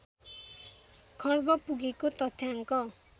खर्ब पुगेको तथ्याङ्क